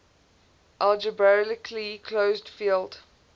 algebraically closed field